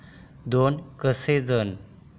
दोन कोस जाणे